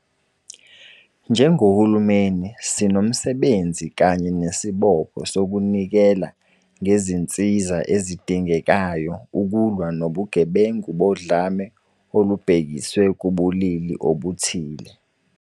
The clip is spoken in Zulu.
Njengohulumeni, sinomsebenzi kanye nesibopho sokunikela ngezinsiza ezidingekayo ukulwa nobugebengu bodlame olubhekiswe kubulili obuthile.